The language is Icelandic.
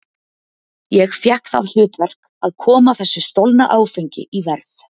Ég fékk það hlutverk að koma þessu stolna áfengi í verð.